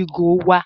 igo wa.